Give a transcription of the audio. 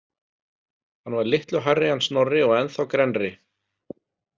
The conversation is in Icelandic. Hann var litlu hærri en Snorri og ennþá grennri.